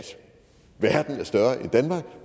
verden er større end danmark